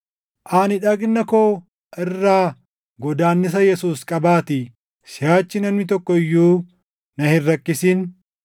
Ani dhagna koo irraa godaannisa Yesuus qabaatii siʼachi namni tokko iyyuu na hin rakkisin.